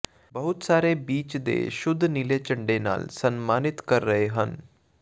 ਬਹੁਤ ਸਾਰੇ ਬੀਚ ਦੇ ਸ਼ੁੱਧ ਨੀਲੇ ਝੰਡੇ ਨਾਲ ਸਨਮਾਨਿਤ ਕਰ ਰਹੇ ਹਨ